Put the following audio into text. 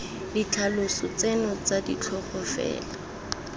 ditlhaloso tseno tsa ditlhogo fela